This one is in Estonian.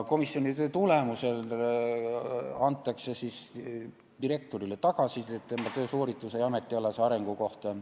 " Komisjoni töö tulemusel antakse direktorile tagasisidet tema töösoorituse ja ametialase arengu kohta.